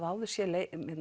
áður séð